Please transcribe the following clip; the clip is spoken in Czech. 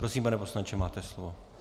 Prosím, pane poslanče, máte slovo.